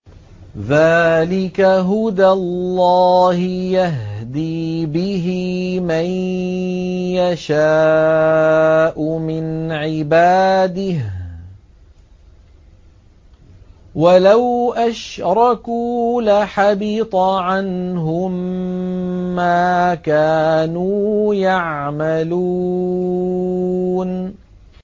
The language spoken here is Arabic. ذَٰلِكَ هُدَى اللَّهِ يَهْدِي بِهِ مَن يَشَاءُ مِنْ عِبَادِهِ ۚ وَلَوْ أَشْرَكُوا لَحَبِطَ عَنْهُم مَّا كَانُوا يَعْمَلُونَ